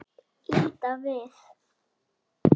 Líta við.